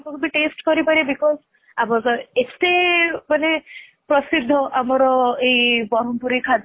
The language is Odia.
ସବୁ ବି taste କରି ପାରିବେ because ଆମର ତ ଏତେ ମାନେ ପ୍ରସିଦ୍ଧ ମାନେ ଆମର ଏଇ ବରମପୁରୀ ଖାଦ୍ଯ